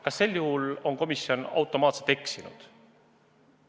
Kas sel juhul on komisjon automaatselt eksinud?